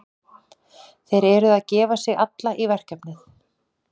Þeir eru að gefa sig alla í verkefnið.